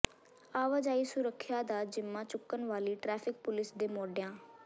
ਆਵਾਜਾਈ ਸੁਰੱਖਿਆ ਦਾ ਜਿੰਮਾ ਚੁੱਕਣ ਵਾਲੀ ਟ੍ਰੈਫਿਕ ਪੁਲਿਸ ਦੇ ਮੋਢਿਆਂ